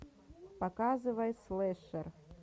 показывай слэшер